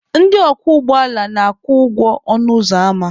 Ndị ọkwọ ụgbọala na-akwụ ụgwọ ọnụ ụzọ ama.